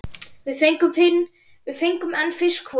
Við fengum einn fisk hvor.